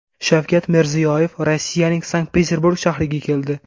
Shavkat Mirziyoyev Rossiyaning Sankt-Peterburg shahriga keldi.